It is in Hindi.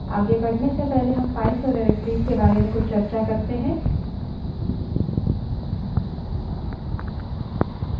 आगे बढ़ने से पहले हम files और directories के बारे में कुछ चर्चा करते हैं